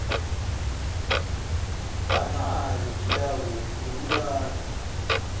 banayo indawo yokulala